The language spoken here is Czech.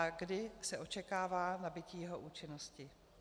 A kdy se očekává nabytí jeho účinnosti?